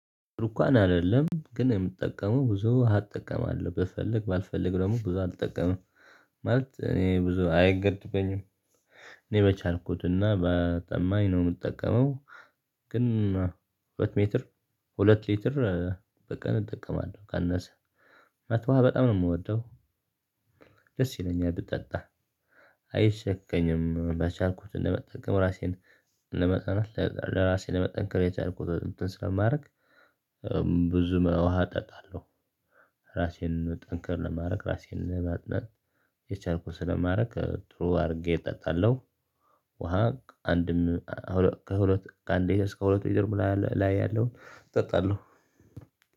ሩኳን አይደለም ግን የምጠቀመው ብዙ ውሃ እጠቀማለው ብፈልግ ባልፈልግ ደግሞ ብዙ አልጠቀምም ማለት እኔ ብዙ አይገድበኝም። እኔ በቻልኩትና በጠማኝ ነው የምጠቀመው። ግን። ሁለት ሜትር ሁለት ሊትር በቀን እጠቀማለሁ ካነሰ ውሃ በጣም ነው የምወደው። ደስ ይለኛል ብጠጣ። አይሸከኝም በቻልኩት ለመጠንከር ራሴን ለመጠናት ለራሴ ለመጠንከር የቻልኩት እንትን ስለማድረግ በዙ ወሃ እጠጣለው። እራሴን ጠንከር ለማድረግ እራሴን ለማጥናት የቻልኩትን ስለማረግ ጥሩ አርጌ እጠጣለው። ውሃ አንድም ከሁለት ከአንድ ሌትር እስከ ሁለት ሌትር ደግሞ ላይ ያለው እጠጣለሁ።